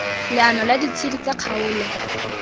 leano la ditshedi tsa kgaolo